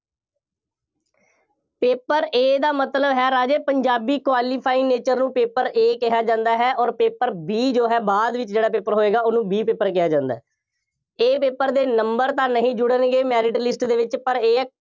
paper A ਦਾ ਮਤਲਬ ਹੈ, ਰਾਜੇ, ਪੰਜਾਬੀ qualifying nature ਨੂੰ paper A ਕਿਹਾ ਜਾਂਦਾ ਹੈ ਅੋਰ paper B ਜੋ ਹੈ ਬਾਅਦ ਵਿੱਚ ਜਿਹੜਾ paper ਹੋਏਗਾ, ਉਹਨੂੰ B paper ਕਿਹਾ ਜਾਂਦਾ ਹੈ। A paper ਦੇ number ਤਾਂ ਨਹੀਂ ਜੁੜਨਗੇ merit list ਦੇ ਵਿੱਚ, ਪਰ ਇਹ ਹੈ,